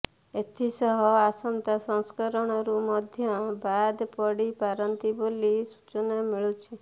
ଏଥିସହ ଆସନ୍ତା ସଂସ୍କରଣରୁ ମଧ୍ୟ ବାଦ୍ ପଡ଼ିପାରନ୍ତି ବୋଲି ସୂଚନା ମିଳୁଛି